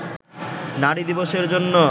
নারী দিবসের জন্য